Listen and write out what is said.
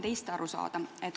Proovin teist aru saada.